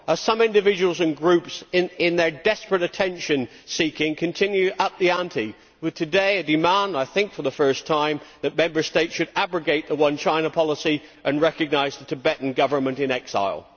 As some individuals and groups in their desperate attention seeking continue to up the ante with today a demand, I think for the first time, that Member States should abrogate the one China policy and recognise the Tibetan government in exile.